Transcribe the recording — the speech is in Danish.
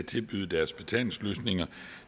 tilbyde deres betalingsløsninger